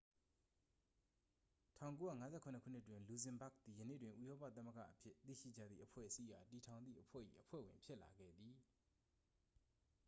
1957 ခုနှစ်တွင် လူဇင်ဘာ့ဂ်သည် ယနေ့တွင် ဥရောပသမဂ္ဂအဖြစ် သိရှိကြသည့်အဖွဲ့အစည်းအား တည်ထောင်သည့်အဖွဲ့၏ အဖွဲ့ဝင်ဖြစ်လာခဲ့သည်